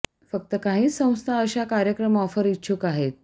फक्त काही संस्था अशा एक कार्यक्रम ऑफर इच्छुक आहेत